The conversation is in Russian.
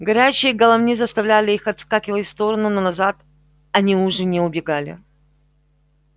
горящие головни заставляли их отскакивать в стороны но назад они уже не убегали